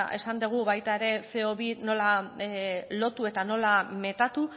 esan dugu baita ere ce o bi nola lotu eta nola metatu